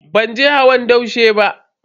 Ban je hawan daushe ba.